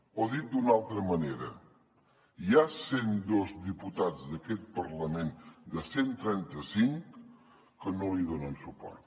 o dit d’una altra manera hi ha cent dos diputats d’aquest parlament de cent i trenta cinc que no li donen suport